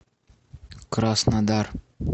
краснодар